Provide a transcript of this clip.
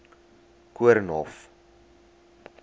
koornhof